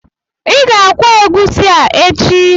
Ị ga-akwọ egusi a echi!